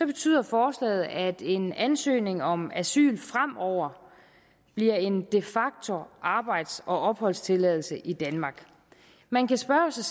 betyder forslaget at en ansøgning om asyl fremover bliver en de facto arbejds og opholdstilladelse i danmark man kan spørge sig